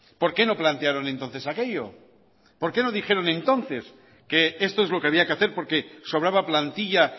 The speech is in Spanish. por qué no plantearon entonces aquello por qué no dijeron entonces que esto es lo que había que hacer porque sobraba plantilla